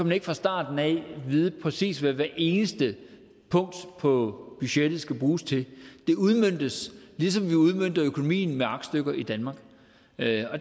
man ikke fra starten vide præcist hvad hvert eneste punkt på budgettet skal bruges til det udmøntes ligesom vi udmønter økonomien med aktstykker i danmark